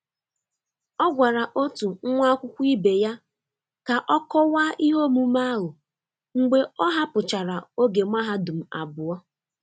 Ọ gwara otu nwa akwụkwọ ibe ya ka ọ kọwaa ihe omume ahụ mgbe ọ hapụchara oge mahadum abụọ